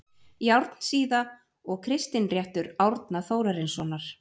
Járnsíða og Kristinréttur Árna Þórarinssonar